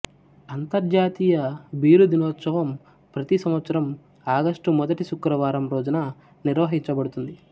అంతర్జాతీయ బీరు దినోత్సవం ప్రతి సంవత్సరం ఆగస్టు మొదటి శుక్రవారం రోజున నిర్వహించబడుతుంది